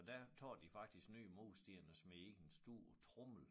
Og der tager de faktisk nye mursten og smider i en stor tromle